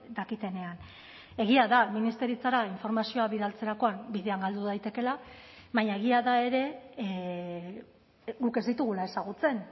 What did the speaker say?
dakitenean egia da ministeritzara informazioa bidaltzerakoan bidean galdu daitekeela baina egia da ere guk ez ditugula ezagutzen